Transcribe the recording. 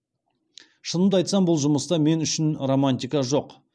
шынымды айтсам бұл жұмыста мен үшін романтика жоқ